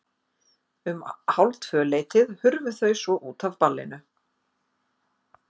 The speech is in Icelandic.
Um hálftvöleytið hurfu þau svo út af ballinu.